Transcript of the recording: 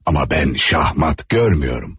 amma mən Şahmat görmürəm.